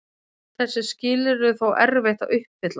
Þessi skilyrði er þó erfitt að uppfylla.